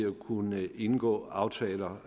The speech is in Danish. at kunne indgå aftaler